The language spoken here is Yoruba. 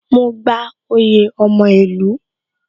Mo gba oyè ọmọ ìlú